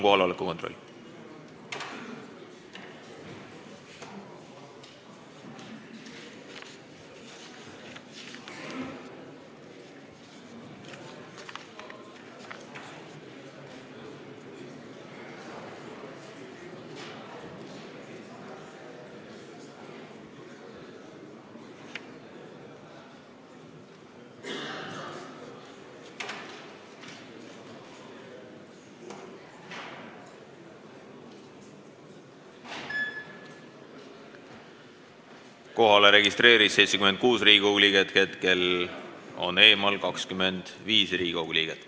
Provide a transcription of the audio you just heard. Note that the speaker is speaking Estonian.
Kohaloleku kontroll Kohalolijaks registreerus 76 Riigikogu liiget, hetkel on eemal 25 Riigikogu liiget.